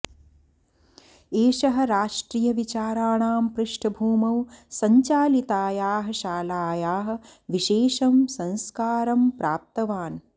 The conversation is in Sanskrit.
एषः राष्ट्रियविचाराणां पृष्ठभूमौ सञ्चालितायाः शालायाः विशेषं संस्कारं प्राप्तवान्